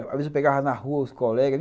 Às vezes eu pegava na rua os colegas.